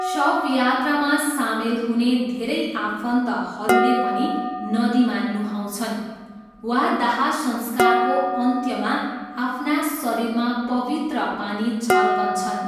शवयात्रामा सामेल हुने धेरै आफन्तहरूले पनि नदीमा नुहाउँछन् वा दाहसंस्कारको अन्त्यमा आफ्ना शरीरमा पवित्र पानी छर्कन्छन्।